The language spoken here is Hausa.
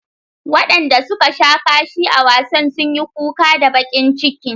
Wadanda suka sha kashi a wasan sun yi kuka da bakin ciki.